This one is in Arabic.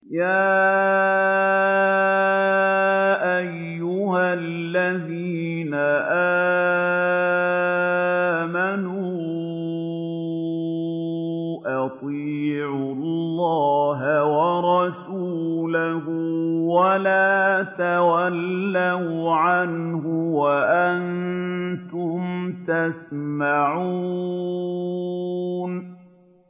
يَا أَيُّهَا الَّذِينَ آمَنُوا أَطِيعُوا اللَّهَ وَرَسُولَهُ وَلَا تَوَلَّوْا عَنْهُ وَأَنتُمْ تَسْمَعُونَ